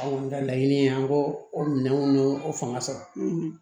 Anw ka laɲini ye an ko o minɛnw y'o fanga sɔrɔ